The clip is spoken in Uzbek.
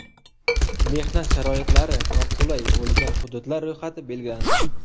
Mehnat sharoitlari noqulay bo‘lgan hududlar ro‘yxati belgilandi.